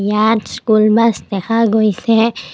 ইয়াত school bus দেখা গৈছে।